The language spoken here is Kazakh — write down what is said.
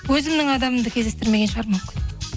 өзімнің адамымды кездестірмеген шығармын мүмкін